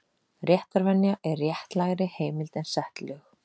Réttarvenja er réttlægri heimild en sett lög.